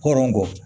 Hɔrɔn kɔ